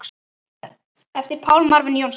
eftir Pál Marvin Jónsson